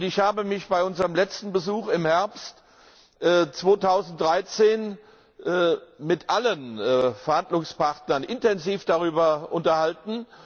Ich habe mich bei unserem letzten Besuch im Herbst 2013 mit allen Verhandlungspartnern intensiv darüber unterhalten.